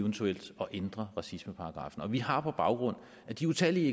eventuelt at ændre racismeparagraffen vi har på baggrund af de utallige